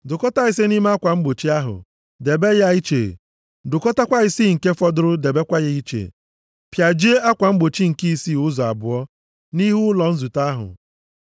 Dụkọtaa ise nʼime akwa mgbochi ahụ. Debe ya iche. Dụkọtakwa isii nke fọdụrụ debekwa ya iche. Pịajie akwa mgbochi nke isii ụzọ abụọ nʼihu ụlọ nzute ahụ.